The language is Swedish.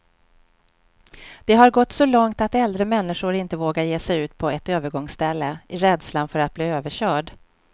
Det har gått så långt att äldre människor inte vågar ge sig ut på ett övergångsställe, i rädslan för att bli överkörd.